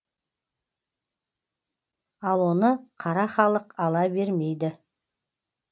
ал оны қара халық ала бермейді